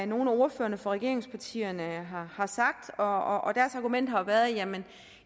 nogle af ordførerne fra regeringspartierne har sagt og deres argument har været at man